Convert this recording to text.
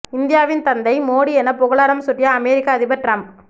இந்தியாவின் தந்தை மோடி என புகழாரம் சூட்டிய அமெரிக்க அதிபர் டிரம்ப்